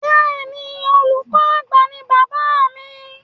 Bẹ́ẹ̀ni, olùkọ àgbà ní bàbáà mi.